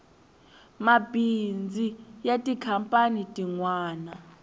mabazi ya tikhampani tin wana